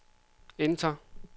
enter